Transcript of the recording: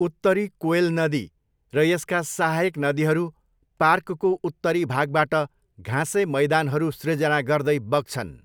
उत्तरी कोएल नदी र यसका सहायक नदीहरू पार्कको उत्तरी भागबाट घाँसे मैदानहरू सृजना गर्दै बग्छन्।